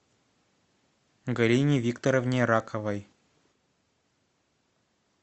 галине викторовне раковой